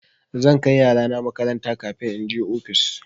Zan kai yarana makaranta kafin in je ofis.